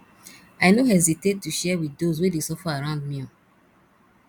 i no hesitate to share with those wey dey suffer around me